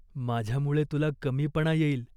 माझ्यामुळे तुला कमीपणा येईल.